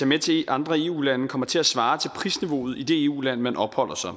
med til andre eu lande kommer til at svare til prisniveauet i det eu land man opholder sig